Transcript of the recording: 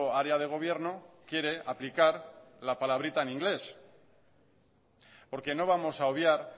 área de gobierno quiere aplicar la palabrita en inglés porque no vamos a obviar